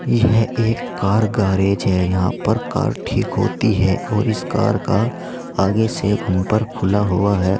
यह एक car garage है यहां पर कार ठीक होती है और इस कार का आगे से बंपर खुला हुआ है।